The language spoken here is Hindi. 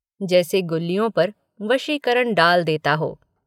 जैसे गुल्लियों पर वशीकरण डाल देता हो।